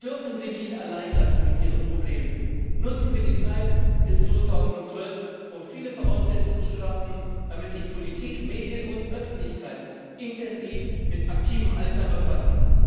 Wir dürfen sie mit ihren Problemen nicht allein lassen. Nutzen wir die Zeit bis 2012, um viele Voraussetzungen zu schaffen, damit sich Politik, Medien und Öffentlichkeit intensiv mit dem aktiven Altern befassen.